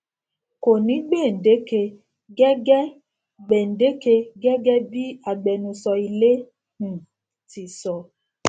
kò ní gbèǹdéke gẹgẹ gbèǹdéke gẹgẹ bí agbẹnusọ ilé um ti sọ